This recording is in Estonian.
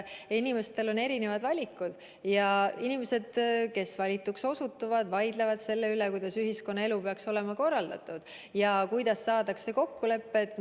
Inimestel on erinevad valikud ja inimesed, kes valituks osutuvad, vaidlevad selle üle, kuidas ühiskonnaelu peaks olema korraldatud ja kuidas saada kokkuleppele.